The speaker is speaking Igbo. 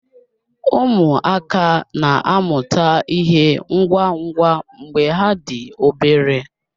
Ụmụaka na-amụta ịhe ngwa ngwa mgbe ha dị obere